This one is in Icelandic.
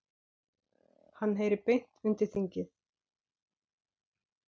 Hann heyri beint undir þingið.